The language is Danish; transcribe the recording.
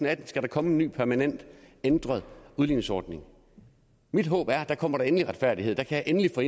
atten skal komme en ny permanent ændret udligningsordning mit håb er at der kommer der endelig retfærdighed der kan jeg endelig få